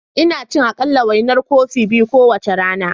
Ina ci aƙalla, wainar kofi biyu kowace rana.